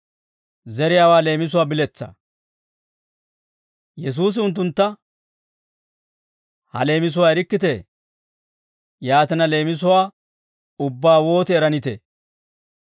Yesuusi unttuntta, «Ha leemisuwaa erikkitee? Yaatina, leemisuwaa ubbaa wooti eranitee?